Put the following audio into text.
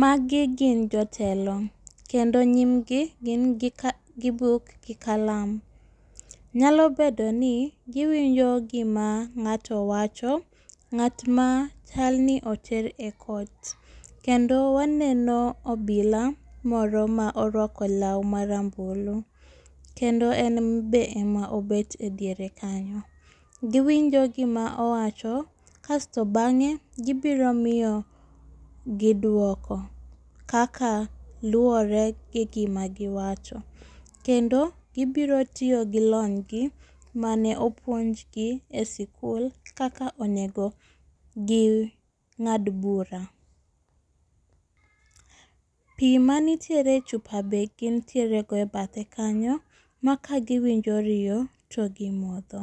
Magi gin jotelo kendo nyimgi gin gi buk gi kalam, nyalo bedo ni giwinjo gima ng'ato wacho ,ng'at ma chalni oter e court kendo waneno obila moro ma orwako law ma rambulu, kendo en be ema obet diere kanyo. Giwinjo gima owacho kasto bang'e gibiro miyogi dwoko kaka luwore gi gima giwacho. Kendo gibiro tiyo gi lonygi mane opuonjgi e sikul kaka onego ging'ad bura. Pi manitiere chupa be gintiere go e bathe kanyo ma ka giwinjo riyo to gimodho.